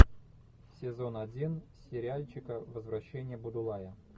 сезон один сериальчика возвращение будулая